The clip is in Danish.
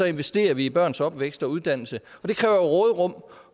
investerer vi i børns opvækst og uddannelse det kræver råderum